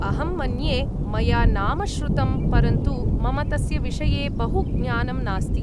अहं मन्ये मया नाम श्रुतम्, परन्तु मम तस्य विषये बहु ज्ञानं नास्ति।